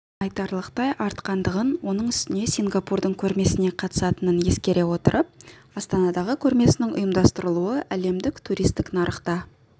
айтарлықтай артқандығын оның үстіне сингапурдың көрмесіне қатысатынын ескере отырып астанадағы көрмесінің ұйымдастырылуы әлемдік туристік нарықта